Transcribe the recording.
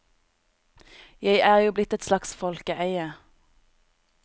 Jeg er jo blitt et slags folkeeie.